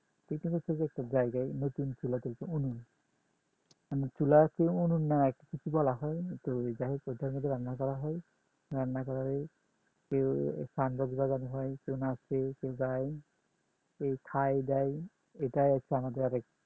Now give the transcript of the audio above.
চুলা আছে উনুন না কী বলা হয় তো যাইহোক ওইটার মধ্যে রান্না করা হয় রান্না করা হয় কেও কেও নাসে কেও গায় কেও খায় দায় এটা হচ্ছে আমাদের অনেক